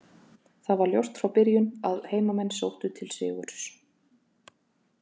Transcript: Það var ljóst frá byrjun að heimamenn sóttu til sigurs.